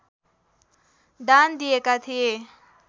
दान दिएका थिए